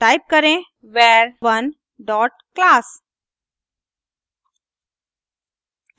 type करें var1 dot class